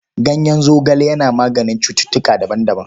Ganyen zogale yana maganin cututtuka daban-daban..